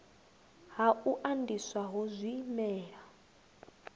ha u andiswa ho zwimela